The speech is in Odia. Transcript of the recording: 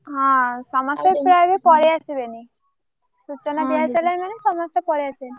ହଁ ସମସ୍ତେ ସେଇଆ ବି ପଳେଇ ଆସିବେଣୀ ସୂଚନା ଦିଆ ହେଇସାରିଲେଣି ମାନେ ସମସ୍ତେ ପଳେଇ ଆସିବେଣି।